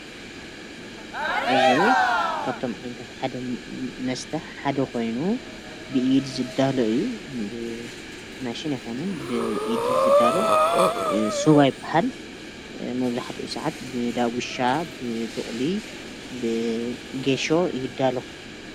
እዚ ካብቶም ዓይነታት መስተ ሓደ ኮይኑ ብኢድ ዝዳሎ እዩ። ብማሽን አይኮነን ብኢድ እዩ ዝዳሎ። ሰዋ ይብሃል። መብዘሕትኡ ሰዓት ብዳጉሻ፣ ብቁሊ ፣ ብጌሾ ይዳሎ ።